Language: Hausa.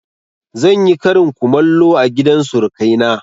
Zan yi karin kumallo a gidan surukai na